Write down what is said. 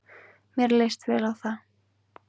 Mér leist vel á það.